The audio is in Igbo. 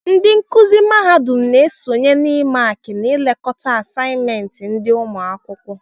Ndị nkụzi mahadum na-esonye n'ịmààkị na ịlekọta àsáyịméntị ndị ụmụakwụkwọ